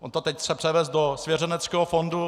On to teď chce převést do svěřeneckého fondu.